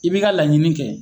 I bi ka laɲini kɛ.